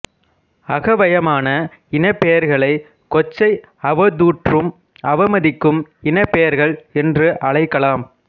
அகவயமான இனப்பெயர்களை கொச்சை அவதூற்றும் அவமதிக்கும் இனப்பெயர்கள் என்று அழைக்கலாம்